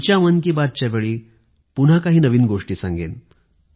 पुढल्या मन कि बात च्या वेळी पुन्हा काही नवीन गोष्टी सांगेन